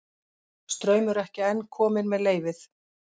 Straumur ekki enn kominn með leyfið